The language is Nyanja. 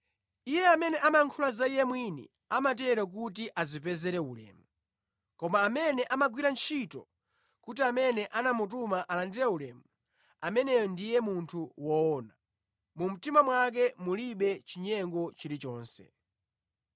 Iye amene amayankhula za Iye mwini amatero kuti adzipezere ulemu, koma amene amagwira ntchito kuti amene anamutuma alandire ulemu, ameneyo ndiye munthu woona; mu mtima mwake mulibe chinyengo chilichonse.